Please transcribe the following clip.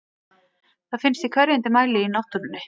Það finnst í hverfandi mæli í náttúrunni.